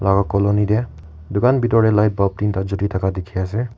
colony te dukan bethor te light bulb tinata Jule thaka dekhi ase.